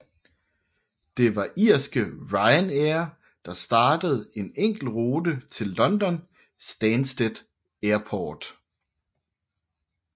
Det var irske Ryanair der startede én enkelt rute til London Stansted Airport